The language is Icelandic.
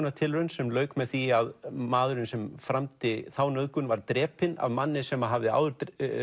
nauðgunartilraun sem lauk með því að maðurinn sem framdi þá nauðgun var drepinn af manni sem hafði áður